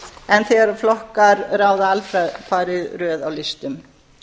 en þegar flokkar ráða alfarið röð á listum